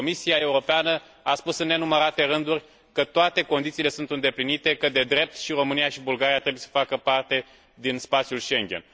Comisia Europeană a spus, în nenumărate rânduri, că toate condițiile sunt îndeplinite, că, de drept, și România, și Bulgaria trebuie să facă parte din spațiul Schengen.